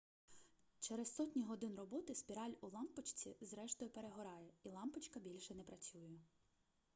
через сотні годин роботи спіраль у лампочці зрештою перегорає і лампочка більше не працює